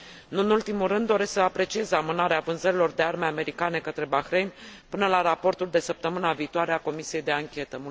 Nu în ultimul rând doresc să apreciez amânarea vânzărilor de arme americane către Bahrain până la raportul de săptămâna viitoare a comisiei de anchetă.